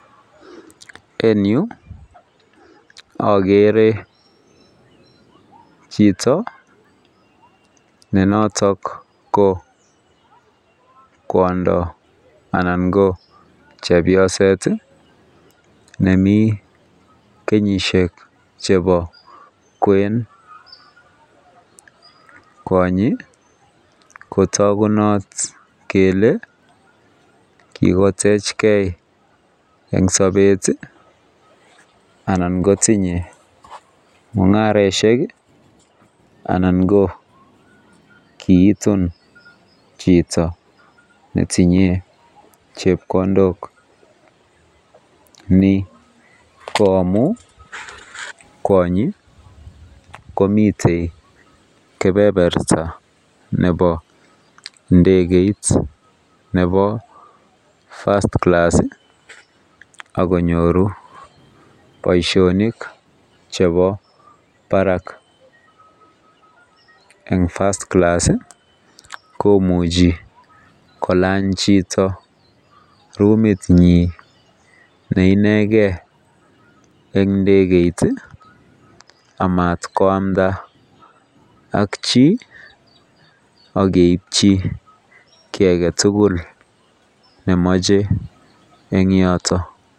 En Yu agere Chito nenoton ko kwondo ananbko chepyoset nemi kenyishek chebobkwen kwanyi kotagunot Kole kikotech gei en Sabet anan kotinye mungaroshek anan ko kitun Chito. Netinye chepkondok Ni koamun kwanyi komiten kebeberta ab ndegeit Nebo first class akinyoru Baishonik chebo Barak en. First-class komuche kolany Chito rumit nyin neineken en indekeit amatkoamda ak chi akeityi ki agetugul nemache en yoton